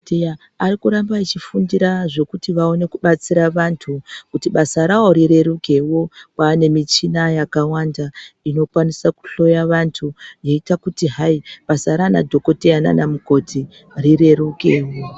Teya arikuramba achifundira zvekuti vaone kubatsira vantu kuti basa ravo rirerukewo kwaane michina yakawanda inokwanisa kuhloya vantu yeiita kuti hai basa ranadhokoteya nanamukoti rirerukewo.